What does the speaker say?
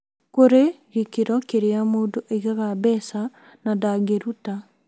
Kũri gĩkĩro kĩrĩa mũndũ aigaga mbeca na ndangĩruta